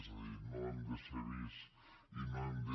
és a dir no hem de ser vists i no hem de